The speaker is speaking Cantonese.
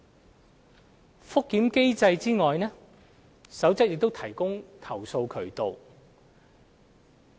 除覆檢機制外，《守則》亦提供投訴渠道。